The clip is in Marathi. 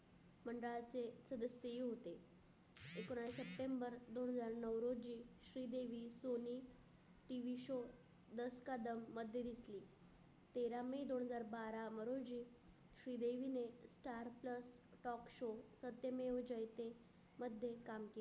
दस कदम मध्ये दिसली. तेरा मे दोन हजार बारा मरुंजी श्रीदेवी ने star plus talk show Satyamev Jayate काम केल.